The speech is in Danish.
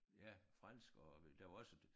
Ja fransk og der var også